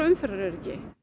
umferðaröryggi